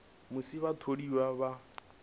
musi vhatholiwa vha nga si